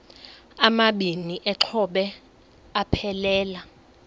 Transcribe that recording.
amabini exhobe aphelela